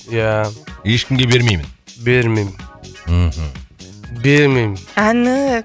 ия ешкімге бермеймін бермеймін мхм бермеймін әні